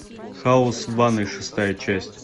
хаос в ванной шестая часть